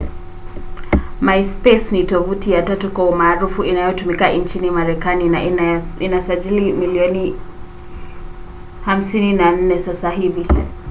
myspace ni tovuti ya tatu kwa umaarufu inayotumika nchini marekani na ina wasajili milioni 54 sasa hivi